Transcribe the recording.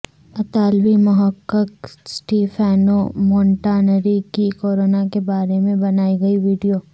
اطالوی محقق Stefano Montanari کی کورونا کے بارے میں بنائی گئی ویڈیو